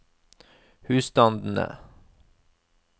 husstandene